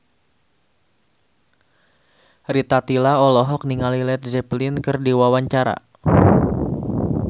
Rita Tila olohok ningali Led Zeppelin keur diwawancara